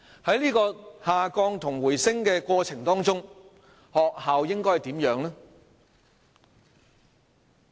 在下降和回升的過程中，學校應該扮演怎樣的角色？